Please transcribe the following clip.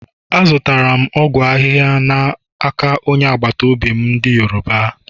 Azụtara m ọgwụ ahịhịa n’aka onye agbata obi m ndị Yoruba.